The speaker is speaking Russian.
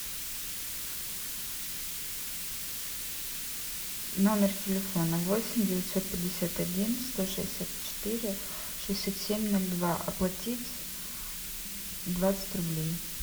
номер телефона восемь девятьсот пятьдесят один сто шестьдесят четыре шестьдесят семь ноль два оплатить двадцать рублей